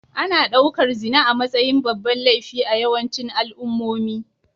Ana ɗaukar zina a matsayin babban laifi a yawancin al'ummomi